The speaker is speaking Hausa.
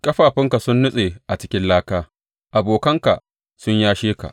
Ƙafafunka sun nutse a cikin laka; abokanka sun yashe ka.’